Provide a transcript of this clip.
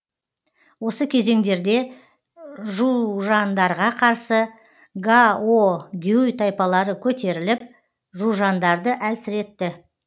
осы кезеңдерде жужандарға қарсы гаогюй тайпалары көтеріліп жужандарды әлсіретті